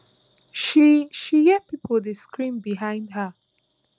she she hear pipo dey scream behind her